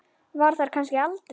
Var þar kannski aldrei?